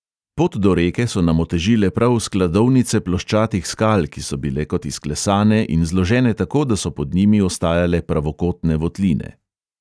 Pot do reke so nam otežile prav skladovnice ploščatih skal, ki so bile kot izklesane in zložene tako, da so pod njimi ostajale pravokotne votline.